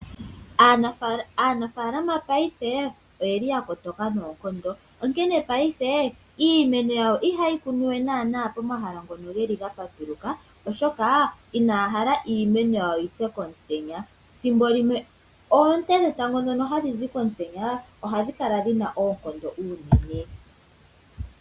Aanafaalama payife oyeli ya kotoka noonkondo onkene payife iimeno yawo iha yeyi kunua naana pomahala ngono geli ga patuluka oshoka inaya hala iimeno yawo yipye komutenya. Ethimbolimwe oonte dhetango ndhono hadhi zi komutenya ohadhi kala dhina oonkondo unene.